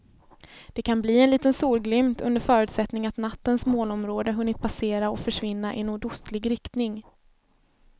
Det kan bli en liten solglimt under förutsättning att nattens molnområde hunnit passera och försvinna i nordostlig riktning.